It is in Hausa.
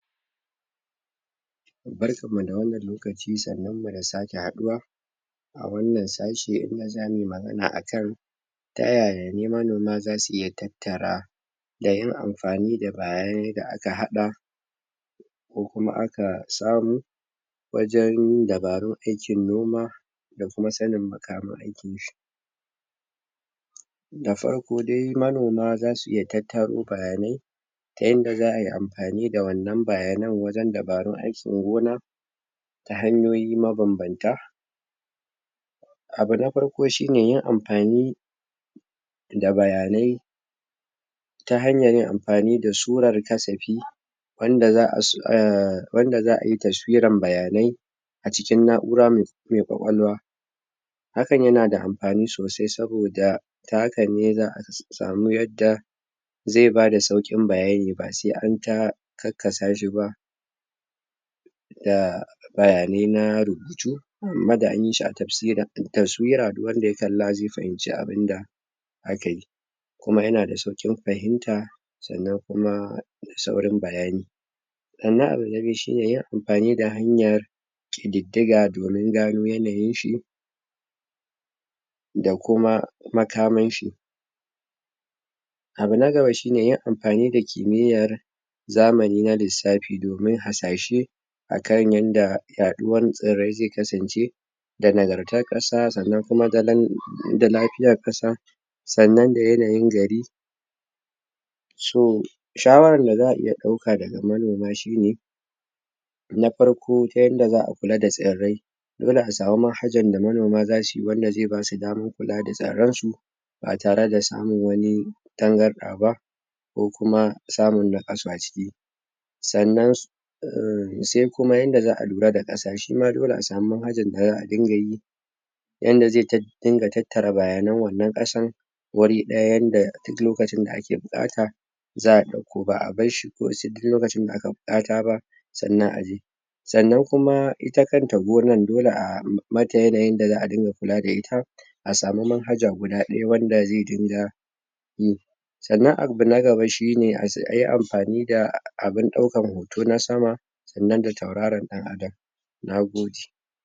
Barkan mu da wannan lokaci, sannun mu da sake haduwa a wannan sashi, za mu magana akai ta yaya manoma za su iya tattara da yin amfani da bayaye da aka hadda ko kuma a ka sharo wajen dabarun aikin noma da kuma sanni makamai da farko dai manoma za su iya tattar bayanai ta inda zaa yi amfani da da wannan bayanai wajen danbaru aikin gona da hanyoyi mababanta abu na farko shi ne yin amfani da bayane ta hanya yin amfani da su wuraren kasafi wanda zaa wanda zaa yi tafsiran bayanai a cikin nauramai kwakwalwa hakan ya na da amfani sosai saboda ta haka ne zaa samu yadda zai ba da saukin bayani ba sai an tara kakasa shi ba. da bayanai na rubutu da an yi shi a tafsira tafsira duk wanda ya kalla zai fahimci abunda a ka yi kuma ya na da saukin fahimta tsannan kuma, da sauran bayani tsannan abu na biyu shi ne ya na amfani da hanya domin garo yanayin shi da kuma makaman shi Abu na gaba shi ne yan amfani da ƙimiyar zamani na lisafi, domin a sashe akan yanda yaduwar sarai zai kasance da nagarta kasa tsannan kuma da lafiyar kasa, tsannan da yanayin gari so shawarar da za iya dauka da manoma shi ne na farko daya da zaa kulla da tsarai hausawa ma, hajja da manoma za su yi wanda zai ba su damar kulla da tsarar su ba tare da samun wani tangarda ba ko kuma, samu na kasace tsannan umm sai kuma inda zaa lura da kasace shi ma dole a samu hajjin da zaa dinga yi yanda zai ta ingatattara bayanin wannan kasan wuri dayan da duk lokacin da a ke bukata zaa dauko baa barshi ko da yake tun lokacin da aka bukata ba, tsannan a je. Tsannan kuma ita kanta gonan, dole a umm mata yanayin da zaa dinga kulla da ita a samu dan hajja guda daya wanda zai dinga yi. Tsannan abu na ga ba shi ne ayi amfani da abun daukan tona sama idan da tauraran dan Adam, nagode.